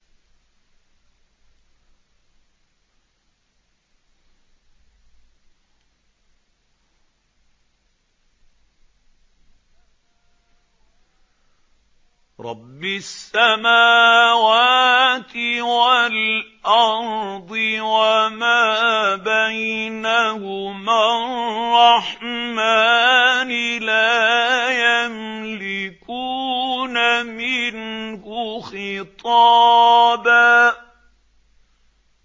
رَّبِّ السَّمَاوَاتِ وَالْأَرْضِ وَمَا بَيْنَهُمَا الرَّحْمَٰنِ ۖ لَا يَمْلِكُونَ مِنْهُ خِطَابًا